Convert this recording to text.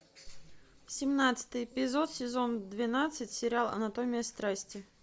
семнадцатый эпизод сезон двенадцать сериал анатомия страсти